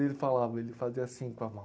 Ele falava, ele fazia assim com a mão.